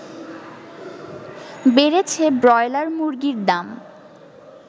বেড়েছে ব্রয়লার মুরগীর দাম